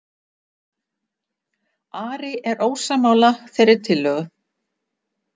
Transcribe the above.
Ari er ósammála þeirri tillögu